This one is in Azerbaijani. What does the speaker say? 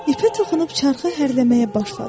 İpə toxunub çarxı hərləməyə başladı.